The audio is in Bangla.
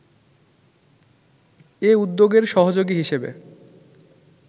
এ উদ্যোগের সহযোগী হিসেবে